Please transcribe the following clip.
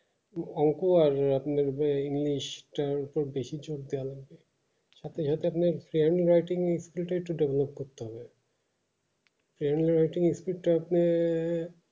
অঙ্ক পারবে আপনার যে english টার উপর বেশি জোর দেয় লাগবে সাথে সাথে আপনার ওটা একটু develop করতে হবে